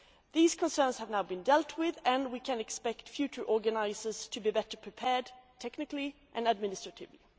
These concerns have now been dealt with, and we can expect future organisers to be better prepared, technically and administratively.